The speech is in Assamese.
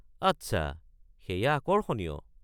আচ্ছা, সেইয়া আকৰ্ষণীয়।